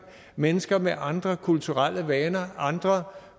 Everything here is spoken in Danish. mennesker med andre kulturelle vaner andre